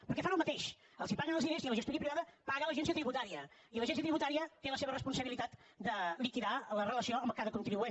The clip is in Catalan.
perquè fan el mateix els paguen els diners i la gestoria privada paga l’agència tributària i l’agència tributaria té la seva responsabilitat de liquidar la relació amb cada contribuent